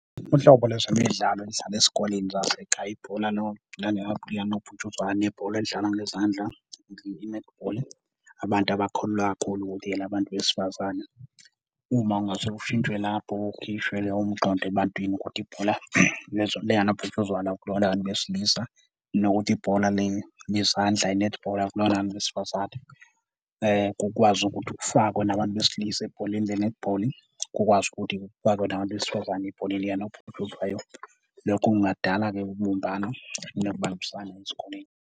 Uhlobo lwezimidlalo elidlalwa esikoleni zasekhaya ibhola likanobhutshuzwayo nebhola elidlalwa ngezandla, i-netball, abantu abakholelwa kakhulu ukuthi elabantu besifazane. Uma kungase ushintshwe lapho ukhishwe loyo mqondo ebantwini ukuthi ibhola likanobhutshuzwayo akulona labantu besilisa, nokuthi ibhola le lezandla i-netball akulona labantu besifazane kukwazi ukuthi kufakwe nabantu besilisa ebholeni le-netball, kukwazi ukuthi kufakwe nabantu besifazane ebholeni likanobhutshuzwayo. Lokho kungadala-ke ubumbano nokubambisana ezikoleni.